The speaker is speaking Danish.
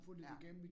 Ja